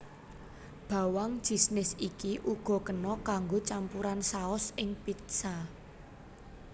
Bawang jisnis iki uga kena kanggo campuran saos ing pizza